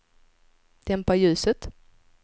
dämpa ljuset